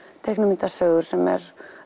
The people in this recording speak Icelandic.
teiknimyndasögur sem er